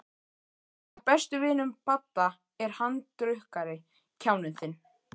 Einn af bestu vinum Badda er handrukkari, kjáninn þinn.